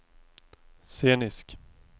scenisk